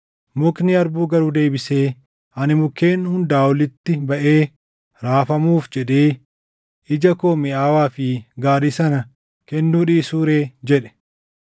“Mukni harbuu garuu deebisee, ‘Ani mukkeen hundaa olitti baʼee raafamuuf jedhee ija koo miʼaawaa fi gaarii sana kennuu dhiisuu ree?’ jedhe.